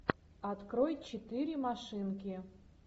открой четыре машинки